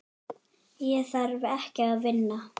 Ég þarf ekki að vinna.